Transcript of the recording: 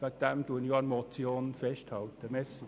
Deshalb halte ich an der Motion fest.